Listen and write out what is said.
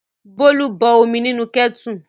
Bólú bọ omi nínú kẹ́tù.